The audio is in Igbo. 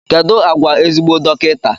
Kedu àgwà ezigbo dọkịta?